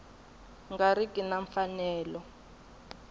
nga ri ki na mfanelo